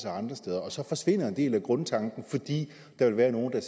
andre steder og så forsvinder en del af grundtanken fordi der vil være nogle der